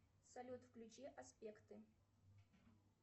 салют включи аспекты